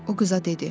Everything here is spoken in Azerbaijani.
O qıza dedi: